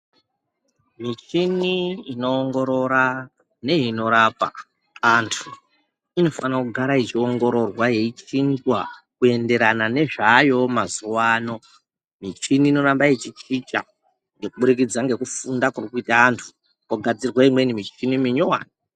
Michini inoongorora neinorapa antu inofana kugara yeiongororwa yeichinjwa kuenderana nezvaayowo mazuwa ano michini inoramba ichi chinja kuburikidza ngekufunda kuri kuite antu kwogadzirwe imweni michini minyowani.